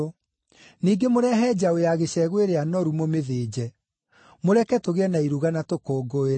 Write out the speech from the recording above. Ningĩ mũrehe njaũ ya gĩcegũ ĩrĩa noru mũmĩthĩnje. Mũreke tũgĩe na iruga na tũkũngũĩre.